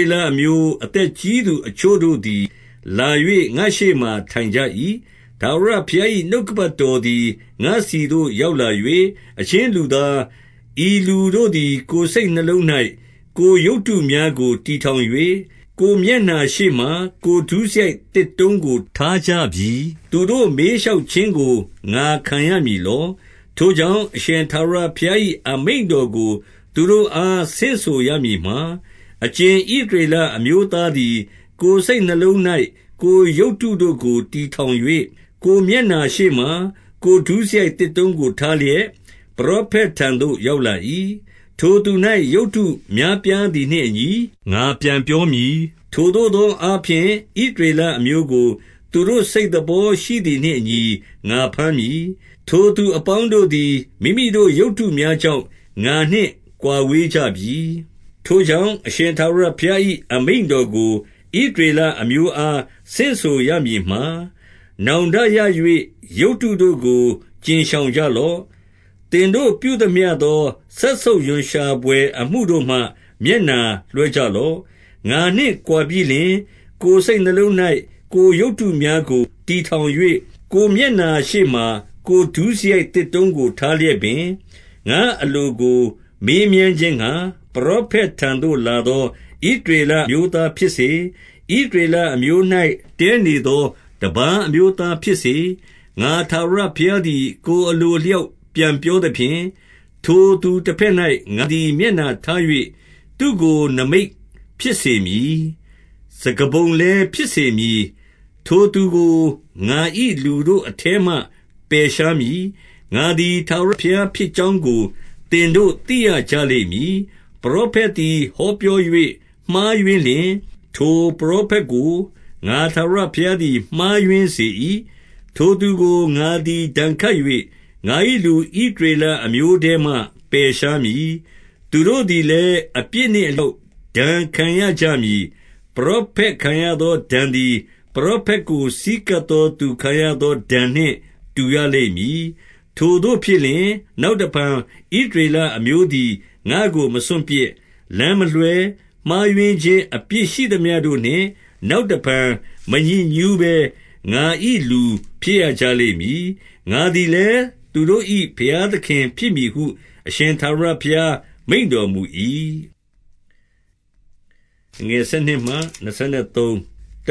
ေလအမျိုးအသက်ကြီးသူ အချို့တို့သည် လာ၍ ငါ့ရှေ့မှာ ထိုင်ကြ၏။ 2 ထာဝရဘုရား၏နှုတ်ကပတ်တော်သည် ငါ့ဆီသို့ ရောက်လာ၍၊ 3 အချင်းလူသား၊ ဤလူတို့သည် ကိုယ်စိတ်နှလုံး၌ ကိုယ်ရုပ်တုများကို တည်ထောင်၍၊ ကိုယ်မျက်နှာရှေ့မှာ ကိုယ်ဒုစရိုက်သစ်တုံးကို ထားကြပြီ။ သူတို့ မေးလျှောက် ခြင်းကို ငါခံရမည်လော။ 4 ထိုကြောင့်၊အရှင်ထာဝရဘုရား၏ အမိန့်တော် ကို သူတို့အား ဆင့်ဆိုရမည်မှာ၊ အကြင်ဣသရေလ အမျိုးသားသည် ကိုယ်စိတ်နှလုံး၌ ကိုယ်ရုပ်တုတို့ကို တည် ထောင်၍၊ ကိုယ်မျက်နှာရှေ့မှာ ကိုယ်ဒုစရိုက်သစ်တုံးကို ထားလျက် ပရောဖက်ထံသို့ရောက်လာ၏။ ထိုသူ၌ရုပ်တု များပြားသည်နှင့်အညီ ငါပြန်ပြောမည်။ 5 ထိုသို့သောအားဖြင့်၊ ဣသရေလအမျိုးကို သူတို့ စိတ်သဘောရှိသည်နှင့်အညီ ငါဘမ်းမည်။ ထိုသူအပေါင်း တို့သည် မိမိတို့ရုပ်တုများကြောင့် ငါနှင့်ကွာဝေးကြပြီ။ 6 ထိုကြောင့်၊ အရှင်ထာဝရဘုရား၏အမိန့်တော် ကို ဣသရေလအမျိုးအား ဆင့်ဆိုရမည်မှာ၊ နောင်တရ၍ ရုပ်တုတို့ကို ကြဉ်ရှောင်ကြလော့။ သင်တို့ပြုသမျှသော စက်ဆုပ်ရွံရှာဘွယ်အမှုတို့မှ မျက်နှာလွှဲကြလော့။ 7 ငါနှင့်ကွာပြီးလျှင်၊ ကိုယ်စိတ်နှလုံး၌ ကိုယ် ရုပ်တုများကို တည်ထောင်၍၊ ကိုယ်မျက်နှာရှေ့မှာ ကိုယ် ဒုစရိုက်သစ်တုံးကို ထားလျက်ပင်၊ ငါ့အလိုကို မေးမြန်း ခြင်းငှါ၊ ပရောဖက်ထံသို့လာသော ဣသရေလအမျိုးသား ဖြစ်စေ၊ ဣသရေလအမျိုး၌တည်းနေသော တပါး အမျိုး သားဖြစ်စေ၊ ငါထာဝရဘုရားသည် ကိုယ် အလိုအလျောက် ပြန်ပြောသဖြင့်၊ 8 ထိုသူတဘက်၌ငါသည် မျက်နှာထား၍ သူ့ကို နိမိတ်ဖြစ်စေမည်။ စကားပုံလည်းဖြစ်စေမည်။ ထိုသူကို ငါ၏လူတို့အထဲမှ ပယ်ရှားမည်။ ငါသည် ထာဝရဘုရား ဖြစ်ကြောင်းကို သင်တို့သိရကြလိမ့်မည်။ 9 ပရောဖက်သည်ဟောပြော၍မှားယွင်းလျှင်၊ ထိုပရောဖက်ကို ငါထာဝရဘုရားမှားယွင်းစေ၏။ ထိုသူကိုငါသည် ဒဏ်ခတ်၍၊ ငါ၏ဣသရေလအမျိုးထဲမှ ပယ်ရှားမည်။ 10 သူတို့သည်လည်း အပြစ်နှင့်အလျောက် ဒဏ်ခံ ရကြမည်။ ပရောဖက်ခံရသောဒဏ်သည် ပရောဖက် ကို ဆည်းကပ်သောသူခံရသော ဒဏ်နှင့်တူရလိမ့်မည်။ 11 ထိုသို့ဖြစ်လျှင်၊ နောက်တဖန် ဣသရေလအမျိုး သည် ငါ့ကို မစွန့်ပစ်၊ လမ်းမလွှဲ၊ မှားယွင်းခြင်း အပြစ် ရှိသမျှတို့နှင့် နောက်တဖန်မညစ်ညှုးဘဲ၊ ငါ၏လူဖြစ်ရကြ လိမ့်မည်။ ငါသည်လည်း သူတို့၏ဘုရားသခင်ဖြစ်မည်ဟု အရှင်ထာဝရဘုရားမိန့်တော်မူ၏။ 12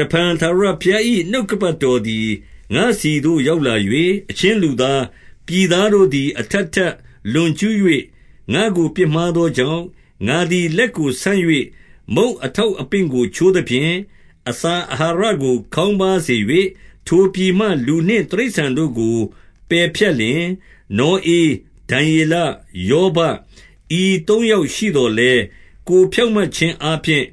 တဖန်ထာဝရဘုရား၏နှုတ်ကပတ်တော်သည် ငါ့ဆီသို့ရောက်လာ၍၊ 13 အချင်းလူသား၊ ပြည်သားတို့သည် အထပ်ထပ် လွန်ကျူး၍ ငါ့ကို ပြစ်မှားသောကြောင့်၊ ငါသည်လက်ကို ဆန့်၍မုန့်အထောက်အပင့်ကို ချိုးသဖြင့်၊ အစာအာဟာရ ကို ခေါင်းပါးစေ၍၊ ထိုပြည်မှ လူနှင့်တိရစ္ဆာန်တို့ကို ပယ်ဖြတ်လျှင်၊ 14 နောဧ၊ ဒံယေလ၊ ယောဘ၊ ဤသုံးယောက်ရှိသော် လည်း၊ ကိုယ်ဖြောင့်မတ်ခြင်းအားဖြင့်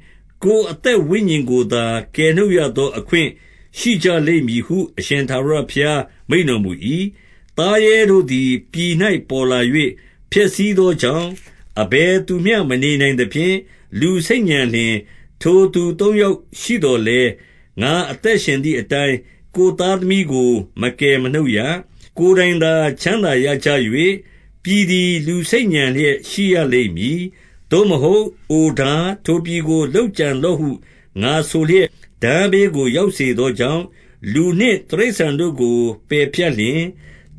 ကိုယ်အသက် ဝိညာဉ်ကိုသာ ကယ်နှုတ်ရသော အခွင့်ရှိကြလိမ့်မည်ဟု အရှင်ထာဝရဘုရား မိန့်တော်မူ၏။ 15 သားရဲတို့သည် ပြည်၌ပေါ်လာ၍ ဖျက်ဆီးသော ကြောင့်၊ အဘယ်သူမျှမနေနိုင်သဖြင့် လူဆိတ်ညံလျှင်၊ 16 ထိုသူသုံးယောက်ရှိသော်လည်း၊ ငါ၏အသက်ရှင် သည်အတိုင်း ကိုယ်သားသမီးကို မကယ်နှုတ်ရ။ ကိုယ်တိုင် သာချမ်းသာရကြ၍၊ ပြည်သည် လူဆိတ်ညံလျက် ရှိရ လိမ့်မည်။ 17 သို့မဟုတ်၊ အိုထား၊ ထိုပြည်ကိုလုပ်ကြံလော့ဟု ငါဆိုလျက်၊ ထားဘေးကို ရောက်စေသောကြောင့်၊ လူနှင့် တိရစ္ဆာန်တို့ကို ပယ်ဖြတ်လျှင်၊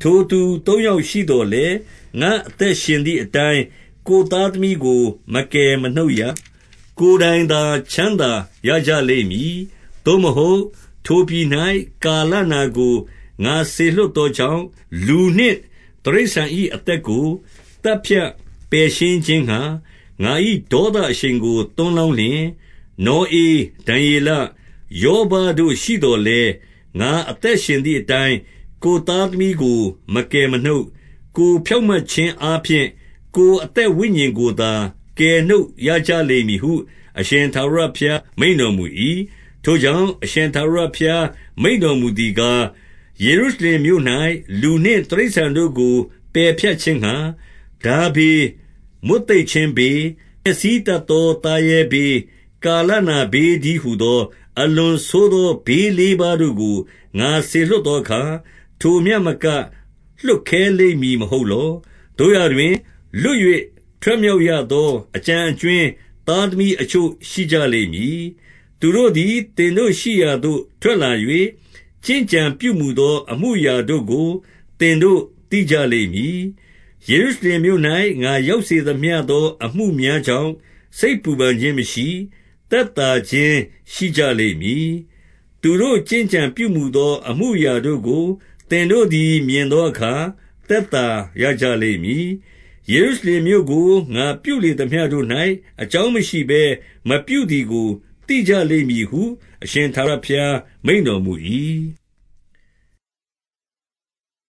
18 ထိုသူသုံးယောက်ရှိသော်လည်း၊ ငါအသက်ရှင် သည်အတိုင်း ကိုယ်သားသမီးကိုမကယ်မနှုတ်ရ၊ ကိုယ်တိုင်သာချမ်းသာရကြလိမ့်မည်။ 19 သို့မဟုတ်၊ ထိုပြည်၌ ကာလနာကို ငါစေလွှတ် သောကြောင့်၊ လူနှင့် တိရစ္ဆာန်၏အသက်ကို သတ်ဖြတ် ပယ်ရှင်းခြင်းငှါ ငါ၏ဒေါသအရှိန်ကို သွန်းလောင်းလျှင်၊ 20 နောဧ၊ ဒံယေလ၊ ယောဘတို့ရှိသော်လည်း၊ ငါ အသက်ရှင်သည် အတိုင်းကိုယ်သားသမီးကို မကယ်မနှုတ်၊ ကိုယ်ဖြောင့်မတ်ခြင်းအားဖြင့် ကိုယ်အသက်ဝိညာဉ်ကို သာ ကယ်နှုတ်ရကြလိမ့်မည်ဟု အရှင်ထာဝရဘုရား မိန့်တော်မူ၏။ 21 ထိုကြောင့်၊ အရှင်ထာဝရဘုရား မိန့်တော် မူသားကား၊ ယေရုရှလင်မြို့၌ လူနှင့်တိရစ္ဆာန်တို့ကို ပယ်ဖြတ်ခြင်းငှါ ထားဘေး၊မွတ်သိပ်ခြင်းဘေး၊ ဖျက်ဆီး တတ်သောသားရဲဘေး၊ ကာလနာဘေးတည်းဟူသော၊ အလွန်ဆိုးသော ဘေးလေးပါးတို့ကို ငါစေလွှတ်သော အခါ။ ထိုမျှမက လွှတ်ခဲလိမ့်မည် မဟုတ်လော။ 22 သို့ရာတွင်၊ လွတ်၍ ထွက်မြောက်ရသော အကျန်အကြွင်းသား သမီးအချို့ရှိကြလိမ့်မည်။ သူတို့ သည် သင်တို့ရှိရာသို့ထွက်လာ၍၊ ကျင့်ကြံပြုမူသော အမူအရာတို့ကို သင်တို့သိကြလိမ့်မည်။ ယေရုရှလင်မြို့၌ ငါရောက်စေသမျှသောအမှုများကြောင့် စိတ်ပူပန်ခြင်း မရှိ၊ သက်သာခြင်း ရှိကြလိမ့်မည်။ 23 သူတို့ ကျင့်ကြံပြုမူသော အမှုအရာတို့ကို သင်တို့ သည် မြင်သောအခါ သက်သာရကြလိမ့်မည်။ ယေရု ရှလင်မြို့ကကို ငါပြုလေသမျှတို့၌၊ အကြောင်းမရှိဘဲ မပြုသည်ကိုသိကြလိမ့်မည်ဟု အရှင်ထာဝရဘုရား မိန့်တော်မူ၏။